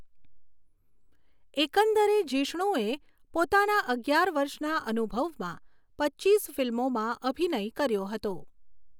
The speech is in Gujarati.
એકંદરે જિષ્ણુએ પોતાના અગિયાર વર્ષના અનુભવમાં પચીસ ફિલ્મોમાં અભિનય કર્યો હતો.